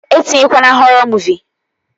E tinyekwana họrọ muuvi!